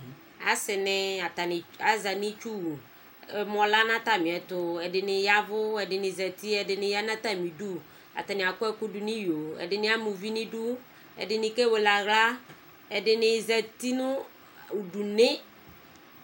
asi ni , atani aza nʋ itsuwuƐmɔ lɛ nʋ atami ɛtuɛdini yavʋ , ɛdini zati, ɛdini yanʋ atami'duAtani akɔ ɛkudu nʋ iyoƐdini ama uvi nʋ iduɛdini kewele aɣlaƐdini zati nʋ udu nii